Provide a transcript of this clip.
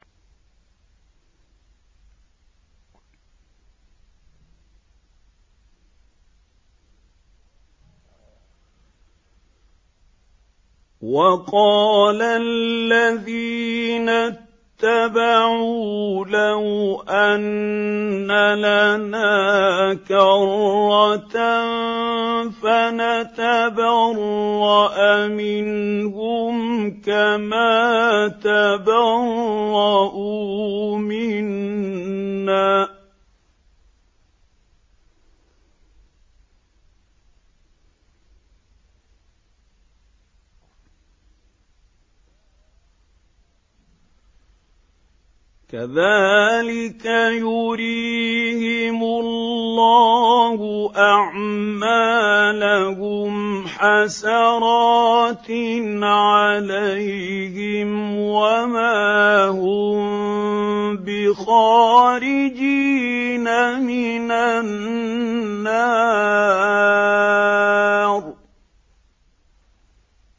وَقَالَ الَّذِينَ اتَّبَعُوا لَوْ أَنَّ لَنَا كَرَّةً فَنَتَبَرَّأَ مِنْهُمْ كَمَا تَبَرَّءُوا مِنَّا ۗ كَذَٰلِكَ يُرِيهِمُ اللَّهُ أَعْمَالَهُمْ حَسَرَاتٍ عَلَيْهِمْ ۖ وَمَا هُم بِخَارِجِينَ مِنَ النَّارِ